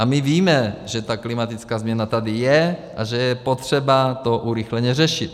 A my víme, že ta klimatická změna tady je a že je potřeba to urychleně řešit.